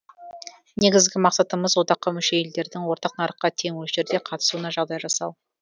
негізгі мақсатымыз одаққа мүше елдердің ортақ нарыққа тең мөлшерде қатысуына жағдай жасау